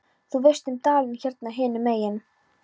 Þú veist um dalinn hérna hinum megin.